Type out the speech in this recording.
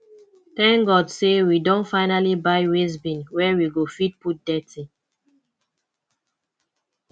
thank god say we don finally buy waste bin where we go fit put dirty